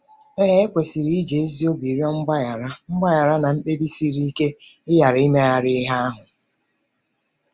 Ee, e kwesịrị iji ezi obi rịọ mgbaghara mgbaghara na mkpebi siri ike ịghara imegharị ihe ahụ.